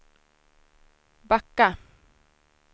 backa